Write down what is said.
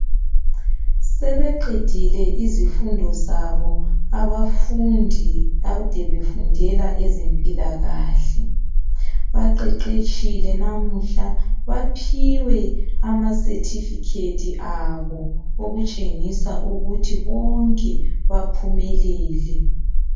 Sebeqedile izifundo zabo abafundi akade befundela ezempilakahle. Baqeqetshile namuhla baphiwe amasethifikhethi abo okutshengisa ukuthi bonke baphumelele.